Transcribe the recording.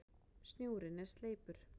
Snjórinn er sleipur!